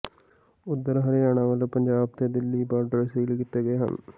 ਉਧਰ ਹਰਿਆਣਾ ਵੱਲੋਂ ਪੰਜਾਬ ਤੇ ਦਿੱਲੀ ਬਾਰਡਰ ਸੀਲ ਕੀਤੇ ਗਏ ਹਨ